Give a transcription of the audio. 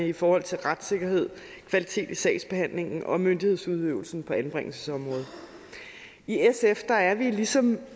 i forhold til retssikkerheden kvaliteten i sagsbehandlingen og myndighedsudøvelsen på anbringelsesområdet i sf er vi ligesom